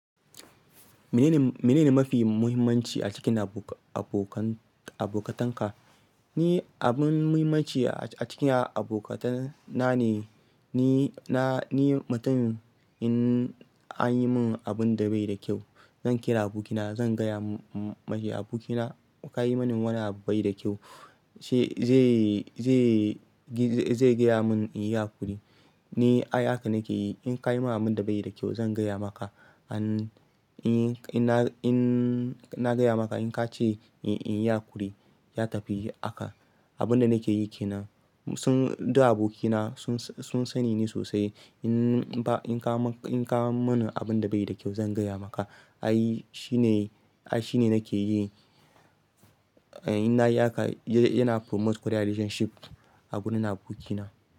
Mene ne mafi mahimmanci a cikin abo-abokan, abokatanka? Ni abun mahimmanci a cikin abokatana ne, ni na, ni mutumin in an yi min abun da bai da kyau, zan kira abokina, zan gaya mashi "Abokina ka yi mini wani abu bai da kyau." zai gaya mun in yi hakuri. Ni ai haka nake yi. In ka yi min abun da bai da kyau zan gaya maka. In na gaya maka in ka ce inyi hakuri, ya tafi haka. Abun da nake yi ke nan. Su, duk abokina sun, sun sani ni sosai. In ba, in ka ma, in ka yi mini abun da bai da kyau zan gaya maka. Ai shi ne, ai shi ne nake yi. Eh, in na yi haka yana promote ƙwarai relationship agurin abokina.